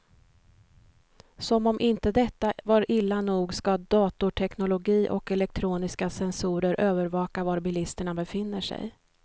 Som om inte detta var illa nog ska datorteknologi och elektroniska sensorer övervaka var bilisterna befinner sig.